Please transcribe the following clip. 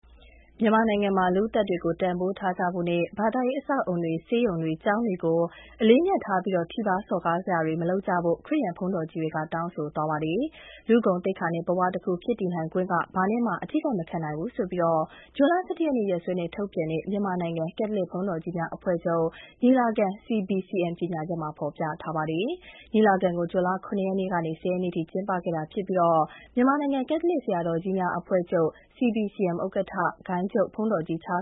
မြန်မာနိုင်ငံမှာ လူ့အသက်တွေကို တန်ဖိုးထားကြဖို့နဲ့ ဘာသာရေး အဆောက်အအုံ တွေ၊ ဆေးရုံတွေ၊ ကျောင်းတွေကို အလေးအမြတ်ထားပြီး ထိပါးစော်ကားတာတွေ မလုပ်ကြဖို့ ခရစ်ယာန်ဘုန်းတော်ကြီးတွေ တောင်းဆိုသွားပါတယ်။ လူ့ဂုဏ်သိက္ခာနဲ့ ဘဝတခုဖြစ်တည်နိုင်ခွင့်က ဘာနဲ့မှ အထိခိုက်မခံနိုင်ပါဘူးလို့ ဇွန်လ ၁၁ ရက် ရက်စွဲနဲ့ထုတ်ပြန်တဲ့ မြန်မာနိုင်ငံ ကက်သလစ်ဘုန်းတော်ကြီးများအဖွဲ့ချုပ် ညီလာခံ CBCM ကြေညာချက်မှာ ပြောထားပါတယ်။ ညီလာခံကို ဇွန်လ ၇ ရက်နေ့ကနေ ၁၀ ရက်နေ့ထိ ကျင်းပခဲ့ပြီး မြန်မာနိုင်ငံ ကက်သလစ် ဆရာတော်ကြီးများအဖွဲ့ချုပ် CBCM ဥက္ကဋ္ဌ ဂိုဏ်းချုပ်ဘုန်းတော်ကြီး ချာ